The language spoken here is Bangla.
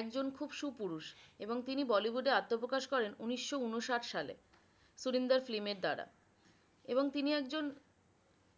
একজন খুব সুপুরুষ এবং তিনি bollywood এ আত্বপ্রকাশ করেন উনিশো উনষাট সালে সুরিন্দার film এর দ্বারা এবং তিনি একজন